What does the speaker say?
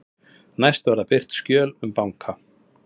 Næst verða birt skjöl um banka